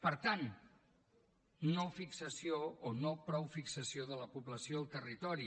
per tant no fixació o no prou fixació de la població al territori